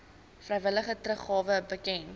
vrywillige teruggawe bekend